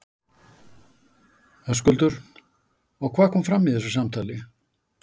Höskuldur: Og hvað kom fram í þessu samtali?